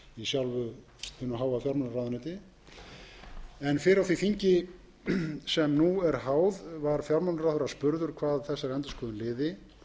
sjálfu hinu háa fjármálaráðuneyti en fyrr á því þingi sem nú er háð var fjármálaráðherra spurður hvað þessari endurskoðun liði